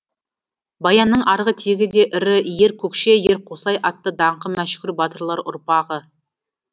баянның арғы тегі де ірі ер көкше ер қосай атты даңқы мәшһүр батырлар ұрпағы